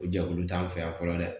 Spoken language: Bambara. O jɛkulu t'an fɛ yan fɔlɔ dɛ